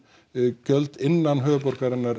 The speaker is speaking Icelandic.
gjöld innan höfuðborgarinnar